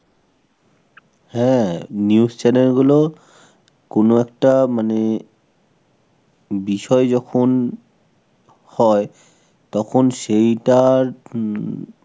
হ্যাঁ, news channel গুলো কোন একটা মানে বিষয়ে যখন হয় তখন সেইটার হমম